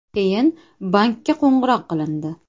Keyin bankka qo‘ng‘iroq qilindi.